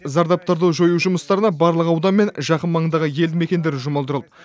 зардаптарды жою жұмыстарына барлық аудан мен жақын маңындағы елді мекендер жұмылдырылды